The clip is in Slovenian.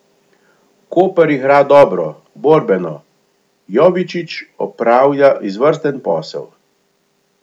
Koper igra dobro, borbeno, Jovičić opravlja izvrsten posel.